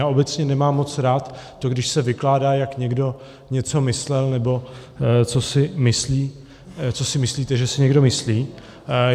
Já obecně nemám moc rád to, když se vykládá, jak někdo něco myslel, nebo co si myslíte, že si někdo myslí.